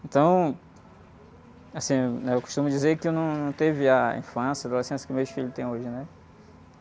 Então, assim, né? Eu costumo dizer que eu não.. Num teve a infância, a adolescência que meus filhos têm hoje, né?